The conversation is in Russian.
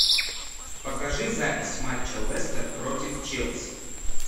покажи запись матча лестер против челси